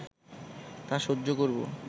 তা সহ্য করব